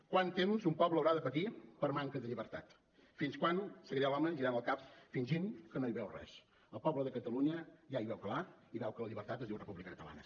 quant temps un poble haurà de patir per manca de llibertat fins quan seguirà l’home girant el cap fingint que no hi veu res el poble de catalunya ja hi veu clar i veu que la llibertat es diu república catalana